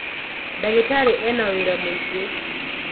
ndagītarī ena wīra mūingī.